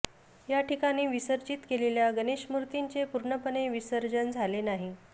याठिकाणी विसर्जित केलेल्या गणेश मूर्तींचे पूर्णपणे विसर्जन झाले नाही